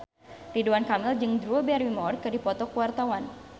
Ridwan Kamil jeung Drew Barrymore keur dipoto ku wartawan